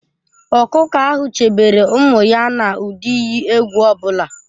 Ọkụkọ ahụ chebere ụmụ ya n'ụdị iyi egwu ọ bụla.